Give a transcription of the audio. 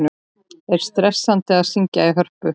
Er stressandi að syngja í Hörpu?